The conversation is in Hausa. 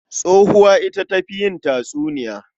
Tsohuwa ita ta fi yin tatsuniya.